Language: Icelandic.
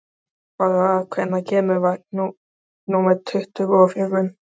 Barbára, hvenær kemur vagn númer tuttugu og fjögur?